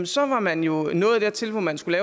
så var man jo nået dertil hvor man skulle